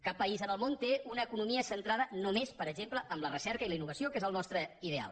cap país en el món té una economia centrada només per exemple en la recerca i la innovació que és el nostre ideal